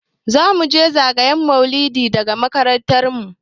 Za muje zagayen maulidi daga makarantar mu.